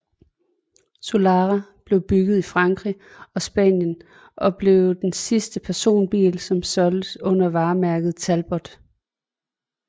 Solara blev bygget i Frankrig og Spanien og blev den sidste personbil som solgtes under varemærket Talbot